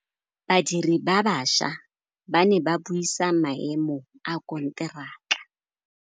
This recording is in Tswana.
Badiri ba baša ba ne ba buisa maêmô a konteraka.